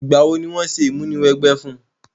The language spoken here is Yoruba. Ìgbà wo ni wo se ìmúniwẹgbẹ́ fun?